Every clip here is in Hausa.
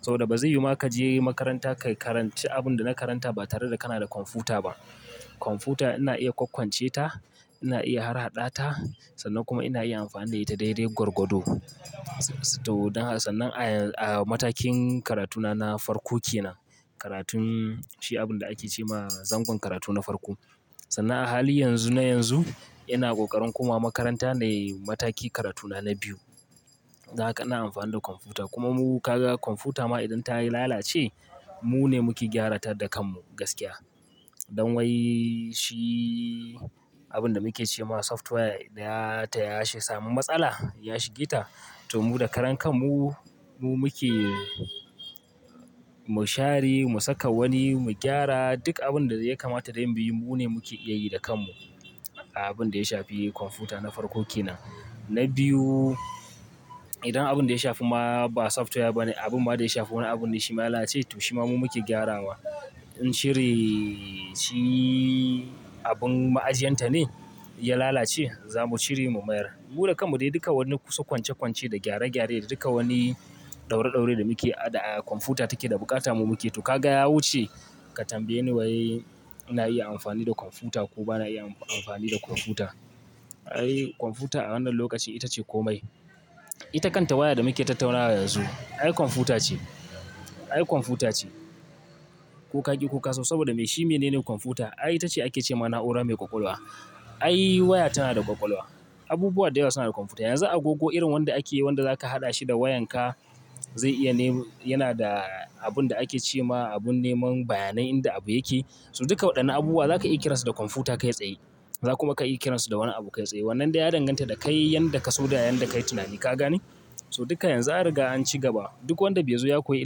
saboda ba zai yiwu ma ka je makaranta ka karanci abun da na karanta ba tare da kana da kwamfuta ba. Kwamfuta ina iya kwakkwance ta, ina iya harhaɗa ta sannan kuma ina iya amfani da ita daidai gwargwado. To dan a sannan a a matakin karatuna na farko kenan. Karatun shi abin da ake ce ma zangon karatu na farko. Sannan a hali yanzu na yanzu, ina ƙoƙarin komawa makaranta na yi mataki karatuna na biyu. Dan haka ina amfani da kwamfuta. Kuma mu ka ga kwamfuta ma idan ta yi lalace, mu ne muke gyara ta da kanmu gaskiya. Don wai shi abin da muke ce ma software da ya ta yashi samu matsala, ya shige ta, to mu da karan kanmu, mu muke, mu share, mu saka wani, mu gyara, duk abin da ya kamata dai mu bi mune muke iya yi da kanmu. Abin da ya shafi kwamfuta na farko kenan. Na biyu, idan abin da ya shafi ma ba software ba ne, abin ma da ya shafi wani abun ne shi ma ya lalace, to shi ma mu muke gyarawa. In shiri shi abin ma'ajiyanta ne ya lalace, za mu cire mu mayar. Mu da kanmu dai duka wani kusa kwanche-kwanche da gyare-gyare da duka wani ɗaure-ɗaure da muke a da a kwamfuta take da buƙata mu muke. To ka ga ya wuce, ka tambaye ni wai ina iya amfani da kwamfuta ko ba na iya am- amfani da kwamfuta. Ai kwamfuta a wannan lokaci ita ce komai. Ita kanta waya da muke tattaunawa yanzu, ai kwamfuta ce, ai kwamfuta ce. Ko ka ƙi ko ka so saboda me? Shi mene ne kwamfuta? Ai ita ce ake ce ma na'ura mai ƙwaƙwalwa. Ai waya tana da ƙwaƙwalwa. Abubuwa da yawa suna da kwamfuta. Yanzu agogo irin wanda ake wanda za ka haɗa shi da wayan ka, zai iya nemi-- yana da abin da ake ce ma abun neman bayanai inda abu yake. To duka waɗannan abubuwa za ka iya kiran su da kwamfuta kai tsaye. Za kuma ka iya kiran su da wani abu kai tsaye. Wannan dai ya danganta da kai yanda ka so da yanda kai tunani, ka gane? To duka yanzu an riga an ci gaba. Duk wanda bai zo ya koyi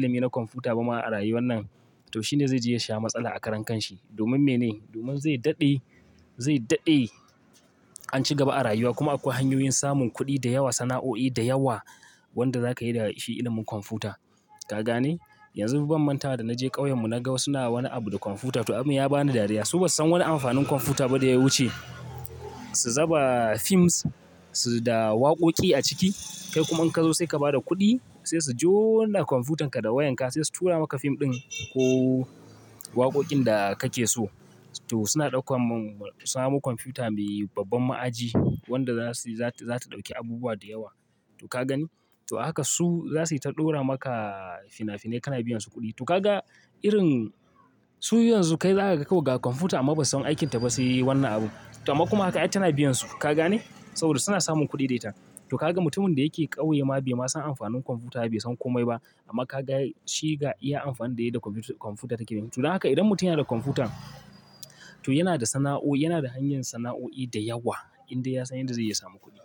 ilimi na kwamfuta ba ma a rayuwan nan, to shi ne zai je ya sha matsala a karan kan shi. Domin mene? Domin zai daɗe, zai daɗe an ci gaba a rayuwa. Kuma akwai hanyoyin samun kuɗi da yawa, sana'o'i da yawa wanda za ka yi da shi ilimin kwamfuta. Ka gane? Yanzu bam mantawa da na je ƙauyen mu na ga wasu na wani abu da kwamfuta. To abun ya bani dariya. Su ba su san wani amfanin kwamfuta ba da ya wuce su zaba films su da waƙoƙi a ciki. Kai kuma in ka zo sai ka ba da kuɗi, sai su jona kwamfutanka da wayan ka sai su tura maka fim ɗin ko waƙoƙin da kake so. To suna ɗaukan mam-- samo kwamfuta mai babban ma'aji wanda za su, za ta, za ta ɗauki abubuwa da yawa. To ka gani? To a haka su za su yi ta ɗora maka fina-finai kana biyan su kuɗi. To ka ga irin su yanzu kai za ka ga kawai ga kwamfuta amma basu san aikin ta ba sai wannan abu. To amma kuma haka ai tana biyan su. Ka gane? Saboda suna samun kuɗi da ita. To ka ga mutumin da yake ƙauye ma bai ma san amfanin kwamfuta ba, bai san komai ba, amma ka ga shi ga iya amfani da yi da kwamfu- kwamfuta take. To don haka idan mutum yana da kwamfuta, to yana da sana'o'i, yana da hanyan sana'o'i da yawa indai ya san yanda zai yi ya samu kuɗi.